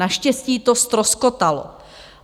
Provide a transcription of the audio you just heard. Naštěstí to ztroskotalo.